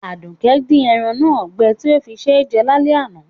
Àdùkẹ́ di eran náà gbẹ ti o fí sé jẹ lálẹ́ àná